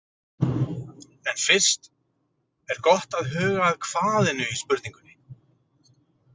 En fyrst er gott að huga að hvað-inu í spurningunni.